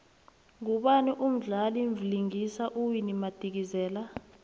ngubani umdlali vlingisa uwinnie madikizela